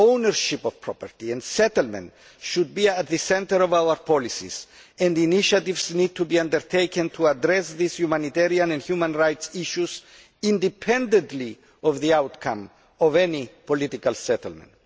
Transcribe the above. Ownership of property and settlement should be at the centre of our policies and initiatives need to be undertaken to address these humanitarian and human rights issues independently of the outcome of any political settlement.